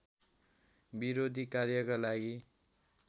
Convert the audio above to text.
विरोधी कार्यका लागि